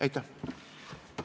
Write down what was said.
Aitäh!